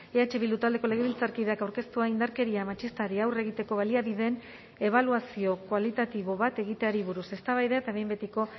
eh bildu taldeko legebiltzarkideak aurkeztua indarkeria matxistari aurre egiteko baliabideen ebaluazio kualitatibo bat egiteari buruz eztabaida eta behin betiko